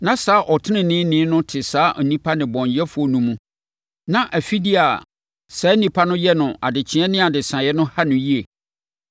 Na saa ɔteneneeni no te saa nnipa nnebɔneyɛfoɔ no mu na afideɛ a na saa nnipa no yɛ no adekyeeɛ ne adesaeɛ no ha no yie.